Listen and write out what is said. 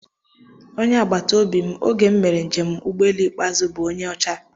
Onye agbataobi m oge m mere njem ụgbọelu ikpeazụ m bụ onye ọcha